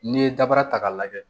N'i ye dabaara ta k'a lajɛ